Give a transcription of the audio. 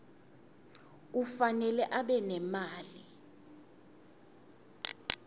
kufanele abe nemali